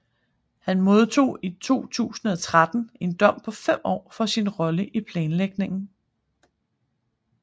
Han modtog i 2013 en dom på fem år for sin rolle i planlægningen